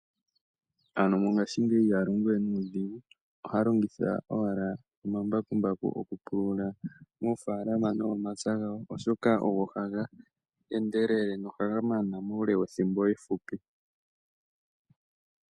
Aantu mongashingeyi iha longowe nuudhingu oha longitha owala omambakumbaku oku pulula moofalamanomomapya gawo. Oshoka ogo haga endelele nohaga mana muule wethimbo efupi.